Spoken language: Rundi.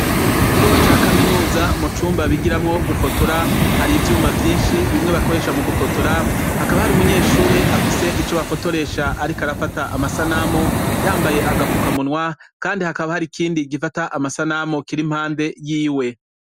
Ikigo ca kaminuza mu cumba bigiramwo gufotora , har'ivyuma vyinshi, bimwe bakoresha mu gufotora. Hakaba hari umunyeshuri afise ico bafotoresha , ariko arafata amasanamu . Yambaye agafukamunwa , kandi hakaba har'ikindi gifata amasanamu, kiri impande yiwe.